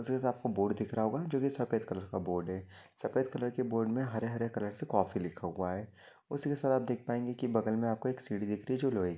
उसे आपको बोर्ड दिख रहा होगा जोकी सफ़ेद कलर का बोर्ड है। सफ़ेद कलर के बोर्ड मे हरे हरे कलर से कॉफी लिखा हुआ है। उसीके साथ आप देख पाएगे की बगल मे आपको एक सीडी दिख रही जो लोहेकी--